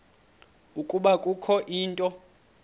ukuba kukho into